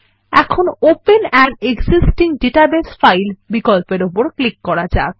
এখন open an existing database file বিকল্পের উপর ক্লিক করা যাক